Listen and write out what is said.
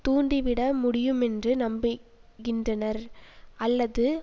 தூண்டிவிட முடியுமென்று நம்புகின்றனர் அல்லது